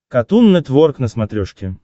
катун нетворк на смотрешке